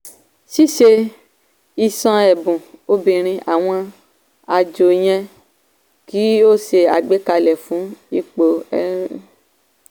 ṣìṣẹ́ ṣé ìṣàn ẹ̀bùn obìnrin àwọn àjò yẹ kí o ṣé àgbékalẹ fún ipò olórí.